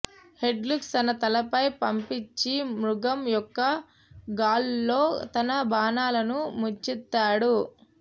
హెడ్కుల్స్ తన తలపై పంపించి మృగం యొక్క గాళ్ళలో తన బాణాలను ముంచెత్తాడు